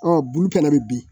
bulu kɛnɛ bɛ bin